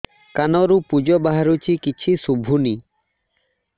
କାନରୁ ପୂଜ ବାହାରୁଛି କିଛି ଶୁଭୁନି